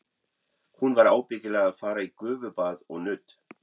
Hún var ábyggilega að fara í gufubað og nudd.